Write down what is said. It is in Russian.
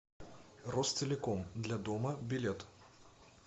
ростелеком для дома билет